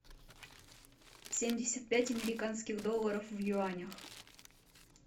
семьдесят пять американских долларов в юанях